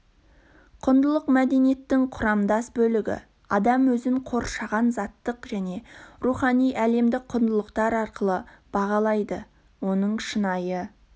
құндылық мәдениеттің құрамдас бөлігі адам өзін қоршаған заттық және рухани әлемді құндылықтар арқылы бағалайды оның шынайы